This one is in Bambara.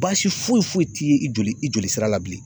Baasi foyi foyi ti ye i joli i joli sira la bilen.